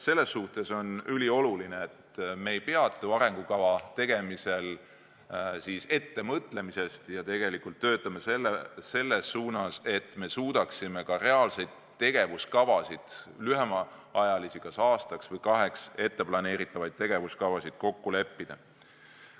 Selles suhtes on ülioluline, et me ei peatu arengukava tegemisel ettemõtlemisel ja tegelikult töötame selles suunas, et me suudaksime ka lühemaajalisi, kas aastaks või kaheks etteplaneeritavaid tegevuskavasid kokku leppida.